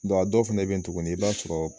a dɔw fana bɛ yen tugun i b'a sɔrɔ.